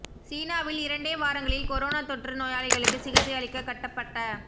சீனாவில் இரண்டே வாரங்களில் கொரோனா தொற்று நோயாளிகளுக்கு சிகிச்சை அளிக்க கட்டப்பட்ட